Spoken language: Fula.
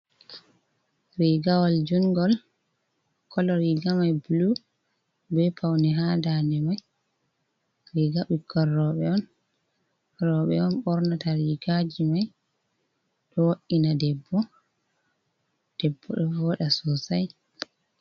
Rigawol njungol, kolo riga mai bulu, ɓe paune ha ndande mai, riga ɓikkoi roɓe on, roɓe on ɓornata rigaji mai, ɗo wo’ina debbo, debbo ɗo voɗa sosai.